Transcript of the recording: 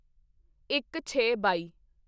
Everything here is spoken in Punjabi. ਇੱਕਛੇਬਾਈ